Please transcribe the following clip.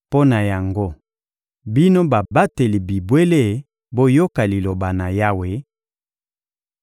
mpo na yango, bino babateli bibwele, boyoka Liloba na Yawe: